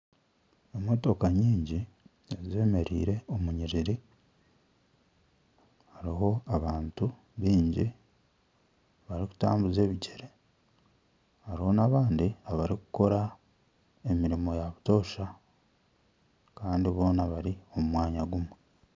Emotoka nyingi ezemereire omu nyiriri. Hariho abantu baingi barikutambuza ebigyere. Hariho n'abandi abarikukora emirimo ya butoosha. Kandi boona bari omu mwanya gumwe.